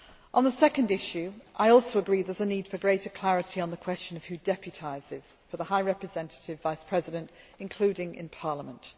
On the second issue, I also agree also there is a need for greater clarity on the question of who deputises for the High Representative Vice President, including in Parliament.